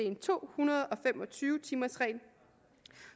en to hundrede og fem og tyve timers regel